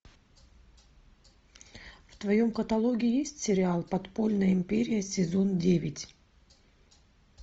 в твоем каталоге есть сериал подпольная империя сезон девять